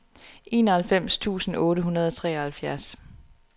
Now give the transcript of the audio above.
enoghalvfems tusind otte hundrede og treoghalvfjerds